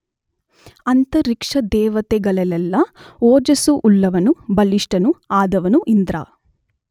ಅಂತರಿಕ್ಷದೇವತೆಗಳಲ್ಲೆಲ್ಲ ಓಜಸ್ಸುಳ್ಳವನೂ ಬಲಿಷ್ಠನೂ ಆದವನು ಇಂದ್ರ.